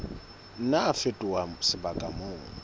nna a fetoha sebaka moo